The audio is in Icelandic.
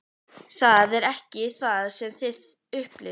Það er ekki það sem þið upplifið?